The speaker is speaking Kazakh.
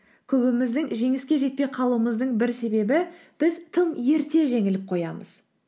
көбіміздің жеңіске жетпей қалуымыздың бір себебі біз тым ерте жеңіліп қоямыз